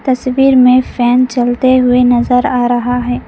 तस्वीर में फैन चलते हुए नजर आ रहा है।